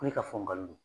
Ko ne ka fɔ n galon don